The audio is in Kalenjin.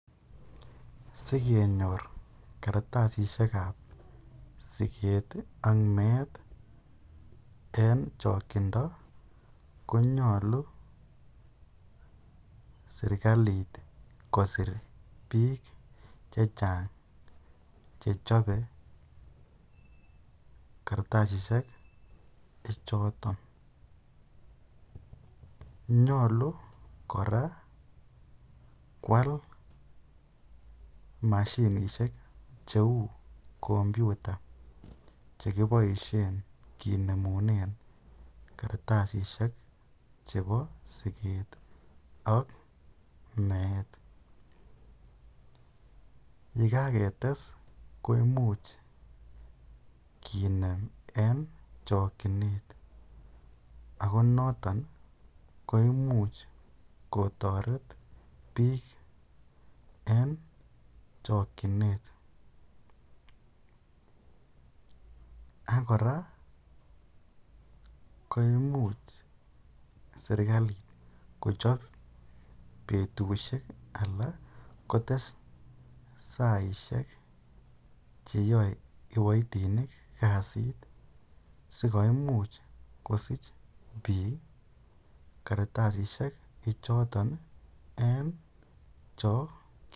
Sikenyor kartasishekab sikeet ak meet en chokyindo konyolu serikalit kosir biik chechang chechobe kartasishe choton, nyolu kora kwal mashinisek cheu kompyuta chekiboishen kinemunen kartasishek chebo sikeet ak meet, yekaketes koimuch kinem en chokyinet ak ko noton ko imuch kotoret biik en chokyinet ak kora koimuch serikalit kochob betushek alaa kotes saishek cheyoe kiboitinik kasit sikoimuch kosich biik kartasishe choton en chokyinet.